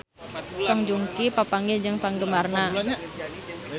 Song Joong Ki papanggih jeung penggemarna